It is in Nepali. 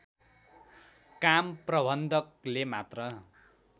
काम प्रबन्धकले मात्र